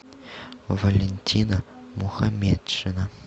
валентина мухаметшина